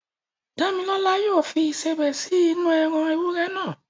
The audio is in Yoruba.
Dámilọ́lá yóò fi Ìṣebẹ̀ sí inú-u ẹran ewúrẹ́ naa